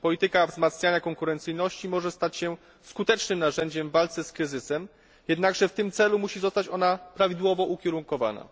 Polityka wzmacniania konkurencyjności może stać się skutecznym narzędziem w walce z kryzysem, jednakże w tym celu musi zostać ona prawidłowo ukierunkowana.